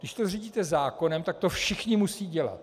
Když to zřídíte zákonem, tak to všichni musí dělat.